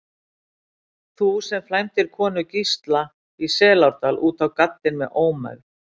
Þú, sem flæmdir konu Gísla í Selárdal út á gaddinn með ómegð.